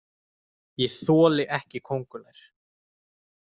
Ég þoli ekki kóngulær.